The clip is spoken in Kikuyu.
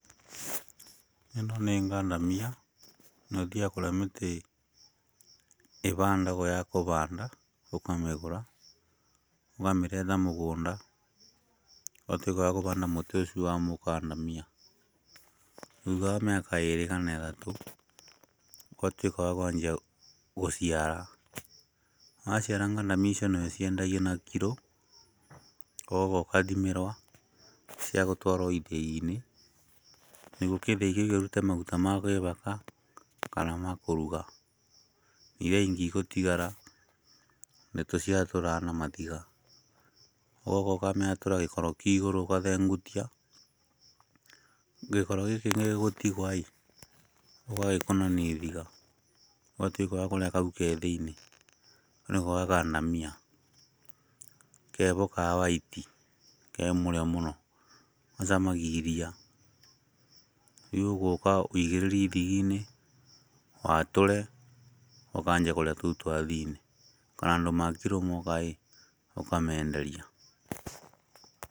Ĩno nĩ ngandamia na ũthiyaga kũrĩa mĩtĩ ĩhandagwo ya kũhanda ũkamĩgũra ũkamĩrehe mũgũnda ũgatuĩka wakũhanda mũtĩ ũcio wa mũkandamia. Thutha wa mĩaka ĩrĩ kana ĩtatũ ũgatuĩka wa kwanjia gũciara. Waciara ngandamia icio nĩciambagia kwendio na kiro ũgoka ũgathimĩrwo cia gũtwarwo ithĩinĩ, nĩguo gĩthĩi gĩkĩ ũrute maguta ma kwĩhaka kana makũrũga. Iria ingĩ igũtigara nĩtũciatũraga na mahiga, ũgoka ũgaciatũra gĩkoro kĩa igũrũ ũgakĩengutia. Gĩkoro gĩkĩ gĩgũtigwo ũgagĩkũnithia ihiga ũgatuĩka wa kũrĩa kau gĩ thĩinĩ kau nĩko gakandamia keho ka whaiti, kemũrĩo mũno gacamaga iriya. Rĩu ũgũka woigĩrĩre ihigainĩ watũre ũkanjia kũrĩa tũu twa thĩinĩ kana andũ a kiro moka ũkamenderia.